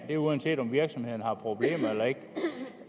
er uanset om virksomhederne har problemer eller ej